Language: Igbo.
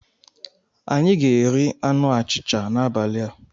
Anyị ga-eri anụ achịcha n'abalị a.